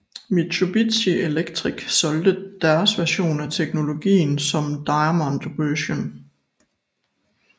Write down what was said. Mitsubishi Electric solgte deres version af teknologien som Diamond Vision